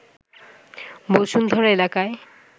বসুন্ধরা এলাকায়